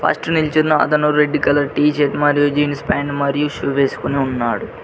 First నిల్చున్న అతను red colour T shirt మరియు జీన్స్ ప్యాంట్ మరియు షూ వేసుకుని వున్నాడు.